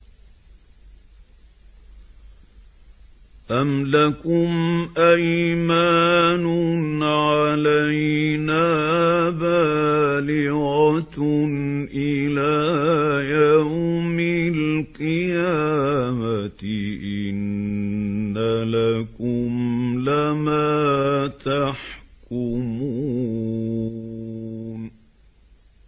أَمْ لَكُمْ أَيْمَانٌ عَلَيْنَا بَالِغَةٌ إِلَىٰ يَوْمِ الْقِيَامَةِ ۙ إِنَّ لَكُمْ لَمَا تَحْكُمُونَ